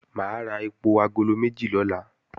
Mà á ra èpò agolo méjì lọ́la